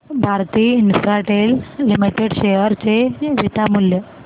Bharti Infratel limited share चे beta मूल्य